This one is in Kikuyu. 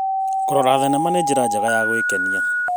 Kũrora thenema nĩ njĩra njega ya gwĩkenia.